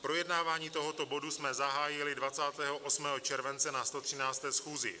Projednávání tohoto bodu jsme zahájili 28. července na 113. schůzi.